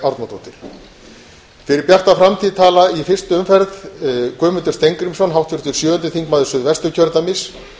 árnadóttir fyrir bjarta framtíð tala í fyrstu umferð guðmundur steingrímsson háttvirtur sjöundi þingmaður suðvesturkjördæmis